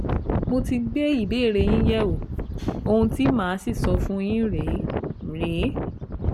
Mo ti gbé ìbéèrè yín yẹ̀wò, ohun tí màá sì sọ fún yín rèé rèé